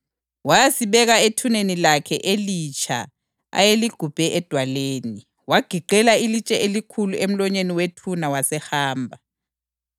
wayasibeka ethuneni lakhe elitsha ayeligubhe edwaleni. Wagiqela ilitshe elikhulu emlonyeni wethuna wasehamba.